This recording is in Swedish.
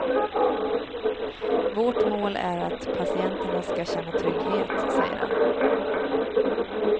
Vårt mål är att patienterna ska känna trygghet, säger han.